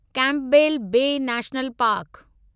Campbell Bay national park